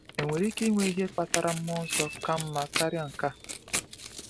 Enwere ike inwe ihe kpatara mmụọ nsọ ka mma karịa nke a?